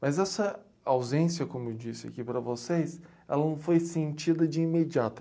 Mas essa ausência, como eu disse aqui para vocês, ela não foi sentida de imediato.